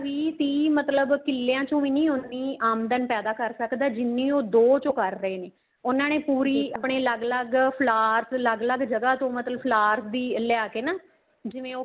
ਵੀਹ ਤੀਹ ਮਤਲਬ ਕਿੱਲਿਆਂ ਚੋ ਵੀ ਨਹੀਂ ਹੋਣੀ ਆਮਦਨ ਪੈਂਦਾ ਕਰ ਸਕਦਾ ਜਿੰਨੀ ਉਹ ਦੋ ਚੋ ਕਰ ਰਹੇ ਨੇ ਉਹਨਾ ਨੇ ਪੂਰੀ ਆਪਣੀ ਅਲੱਗ ਅਲੱਗ flowers ਅੱਲਗ ਅਲੱਗ ਜਗ੍ਹਾ ਤੋਂ ਮਤਲਬ flowers ਦੀ ਲਿਆਕੇ ਨਾ ਜਿਵੇਂ ਉਹ